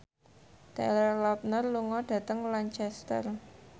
Taylor Lautner lunga dhateng Lancaster